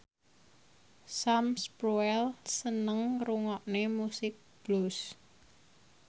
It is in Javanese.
Sam Spruell seneng ngrungokne musik blues